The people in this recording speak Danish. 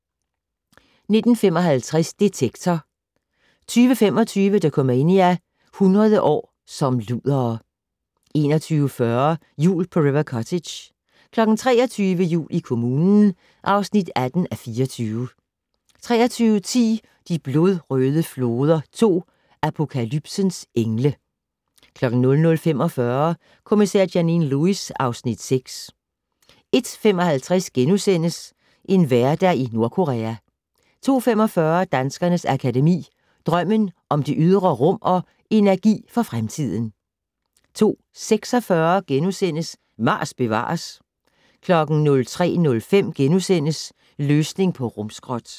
19:55: Detektor 20:25: Dokumania: 100 år som ludere 21:40: Jul på River Cottage 23:00: Jul i kommunen (18:24) 23:10: De blodrøde floder 2 - Apokalypsens engle 00:45: Kommissær Janine Lewis (Afs. 6) 01:55: En hverdag i Nordkorea * 02:45: Danskernes Akademi: Drømmen om det ydre rum & Energi for fremtiden * 02:46: Mars bevares * 03:05: Løsning på rumskrot *